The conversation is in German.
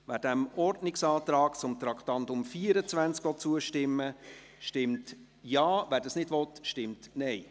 Wer dem Ordnungsantrag zu Traktandum 24 zustimmen will, stimmt Ja, wer dies nicht will, stimmt Nein.